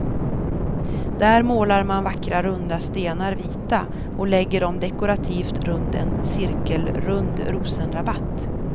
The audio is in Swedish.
Där målar man vackra runda stenar vita och lägger dem dekorativt runt en cirkelrund rosenrabatt.